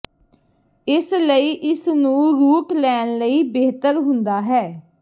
ਇਸ ਲਈ ਇਸ ਨੂੰ ਰੂਟ ਲੈਣ ਲਈ ਬਿਹਤਰ ਹੁੰਦਾ ਹੈ